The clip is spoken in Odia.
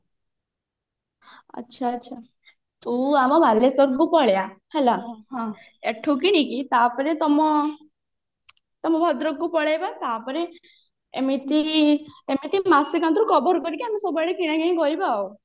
ଆଛା ଆଚ୍ଛା ତୁ ଆମ ବାଲେଶ୍ଵରଠୁ ପଳେଇ ଆ ହେଲା ହଁ ଏଠୁ କିଣିକି ତାପରେ ତମ ତମ ଭଦ୍ରକକୁ ପଳେଇବା ତାପରେ ଏମିତି cover କରିକି ଆମେ ସବୁଆଡେ କିନାକିଣି କରିବା ଆଉ